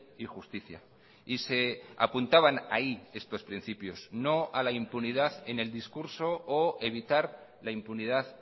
y justicia y se apuntaban ahí estos principios no a la impunidad en el discurso o evitar la impunidad